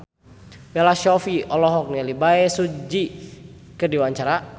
Bella Shofie olohok ningali Bae Su Ji keur diwawancara